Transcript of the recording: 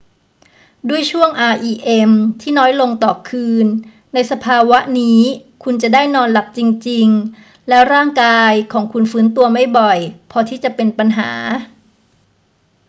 ด้วยช่วง rem ที่น้อยลงต่อคืนในสภาวะนี้คุณจะได้นอนหลับจริง ๆ และร่างกายของคุณฟื้นตัวไม่บ่อยพอที่จะเป็นปัญหา